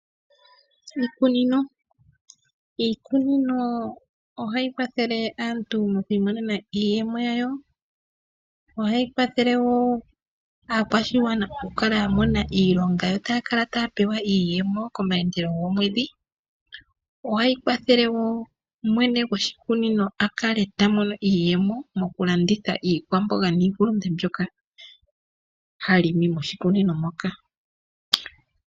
iikunino Iikunino ohayi kwathele aantu moku imonena iiyemo yawo. Ohayi kwathele wo aakwashigwana okukala ya mona iilonga yo taya kala taya pewa iiyemo komayandelo gomwedhi. Ohayi kwathele wo mwene goshikunino a kale ta mono iiyemo mokulanditha iihulunde niikwamboga mbyoka ha limi moshikunino moka.